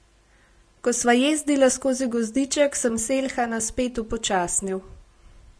Ko sva jezdila skozi gozdiček, sem Selhana spet upočasnil.